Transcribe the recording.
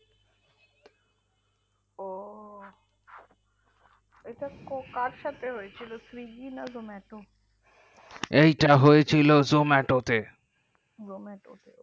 ও এটা কার সাথে হয়েছিল zomato swiggy এটা হয়ে ছিল zomato তে zomato ও